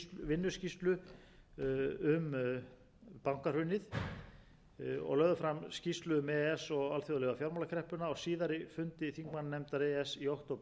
vinnuskýrslu um bankahrunið og lögðu fram skýrslu um e e s og alþjóðlegu fjármálakreppuna á síðari fundi þingmannanefndar e e s í október síðastliðinn